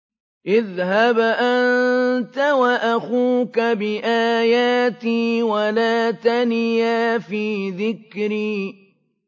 اذْهَبْ أَنتَ وَأَخُوكَ بِآيَاتِي وَلَا تَنِيَا فِي ذِكْرِي